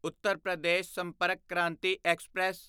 Uttar Pradesh Sampark Kranti express